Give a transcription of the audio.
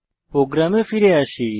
প্রোগ্রামে ফিরে আসি